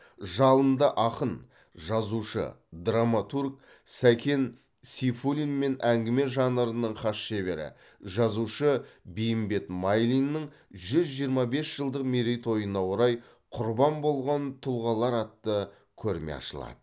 жалынды ақын жазушы драматург сәкен сейфуллин мен әңгіме жанрының хас шебері жазушы бейімбет майлиннің жүз жиырма бес жылдық мерейтойына орай құрбан болған тұлғалар атты көрме ашылады